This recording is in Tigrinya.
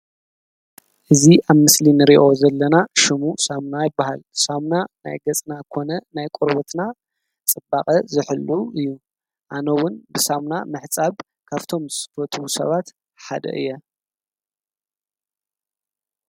እዚ አብ ምስሊ እንሪኦ ዘለና ሹሙ ሳሙና ይበሃል፡፡ ሳሙና ናይ ገፅና ኮነ ናይ ቆርበትና ፅባቀ ዝሕሉ እዩ፡፡ አነ ’ውን ብሳሙና ምሕፃብ ካብቶም ዝፈትው ሰባት ሓደ እየ፡፡